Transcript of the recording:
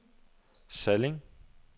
Salling